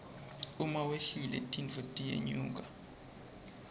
uma wehlile tintfo tiyenyuka